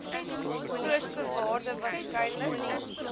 grootste waarde waarskynlik